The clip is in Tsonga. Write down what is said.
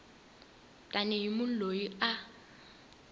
tani hi munhu loyi a